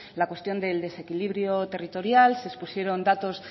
la cuestión del desequilibrio territorial se expusieron datos